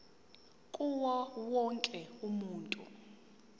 kuwo wonke umuntu